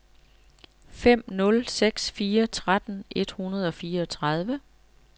fem nul seks fire tretten et hundrede og fireogtredive